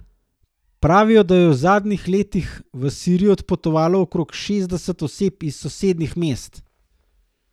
Pravijo, da je v zadnjih letih v Sirijo odpotovalo okrog šestdeset oseb iz sosednjih mest.